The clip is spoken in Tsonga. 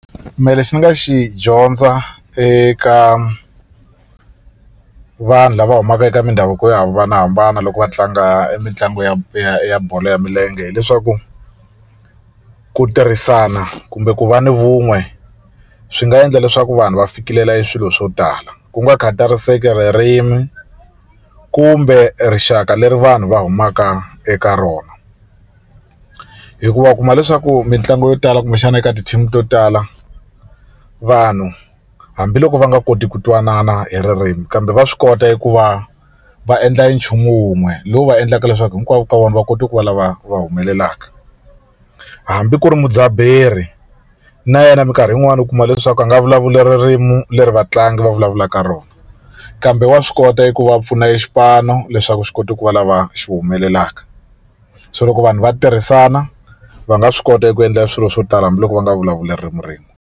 Mehe lexi ni nga xi dyondza eka vanhu lava humaka eka mindhavuko yo hambanahambana loko va tlanga mitlangu yo ya bolo ya milenge hileswaku ku tirhisana kumbe ku va ni vun'we swi nga endla leswaku vanhu va fikelela eswilo swo tala ku nga khatariseki ririmi kumbe rixaka leri vanhu va humaka eka rona hikuva u kuma leswaku mitlangu yo tala kumbexana eka ti-team to tala vanhu hambiloko va nga koti ku twanana hi ririmi kambe va swi kota eku va va endla e nchumu wun'we lowu va endlaka leswaku hinkwavo ka vona va kota ku va lava va humelelaka hambi ku ri mudzaberi na yena minkarhi yin'wani u kuma leswaku a nga vulavuli ririmi leri vatlangi va vulavulaka rona kambe wa swi kota ku va a pfuna exipano leswaku xi kota ku va lava xi humelelaka so loko vanhu va tirhisana va nga swi kota ku endla swilo swo tala hambiloko va nga vulavuli ririmi rin'we.